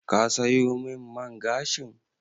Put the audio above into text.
Ka sayo min man gashin?